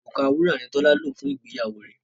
Òrùka wúrà ni Tọ́lá lò fún ìgbéyàwó rẹ̀